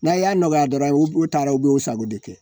N'a' y'a nɔgɔya dɔrɔn u b u taara u b'u sago de kɛ